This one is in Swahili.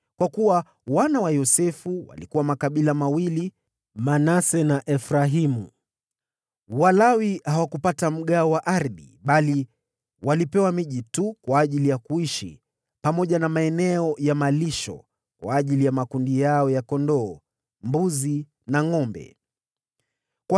kwa kuwa wana wa Yosefu walikuwa makabila mawili; Manase na Efraimu. Walawi hawakupata mgawo wa ardhi, bali walipewa miji tu kwa ajili ya kuishi, pamoja na maeneo ya malisho kwa ajili ya makundi yao ya kondoo, mbuzi na ngʼombe wao.